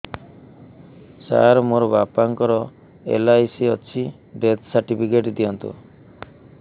ସାର ମୋର ବାପା ଙ୍କର ଏଲ.ଆଇ.ସି ଅଛି ଡେଥ ସର୍ଟିଫିକେଟ ଦିଅନ୍ତୁ